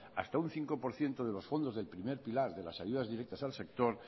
hasta un cinco por ciento de los fondos del primer pilar de las ayudas directas al sector